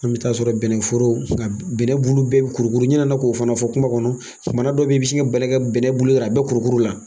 An bɛ taa sɔrɔ bɛnɛforo nka bɛnɛ bulu bɛɛ bi kurukuru , n ɲinɛna k'o fana fɔ kuma kɔnɔ. Tumana dɔ bɛ yen i bɛ sin ka bali ka bɛnɛ bulu y'a bɛ kurukuru la.